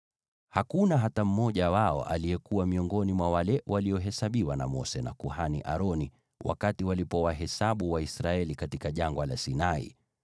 Hakuna hata mmoja wao aliyekuwa miongoni mwa wale waliohesabiwa na Mose na kuhani Aroni wakati waliwahesabu Waisraeli katika Jangwa la Sinai.